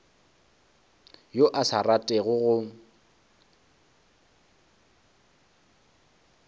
yo a sa ratego go